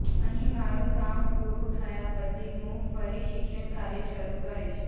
અહીં મારું કામ પૂરું થયા પછી હું ફરી શિક્ષણકાર્ય શરૂ કરીશ